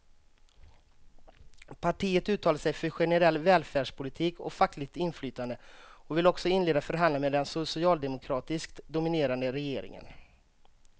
Partiet uttalar sig för generell välfärdspolitik och fackligt inflytande och vill också inleda förhandlingar med den socialdemokratiskt dominerade regeringen.